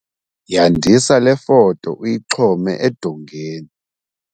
Yandisa le foto, uyixhome edongeni